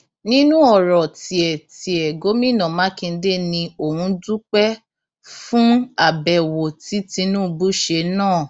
nínú ọrọ tiẹ tiẹ gomina makinde ni òun dúpẹ fún àbẹwò tí tinubu ṣe náà